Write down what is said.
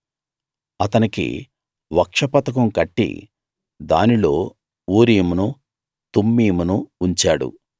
అతనికి వక్షపతకం కట్టి దానిలో ఊరీమును తుమ్మీమును ఉంచాడు